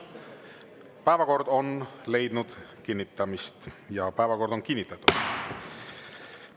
Päevakord on leidnud kinnitamist ehk päevakord on kinnitatud.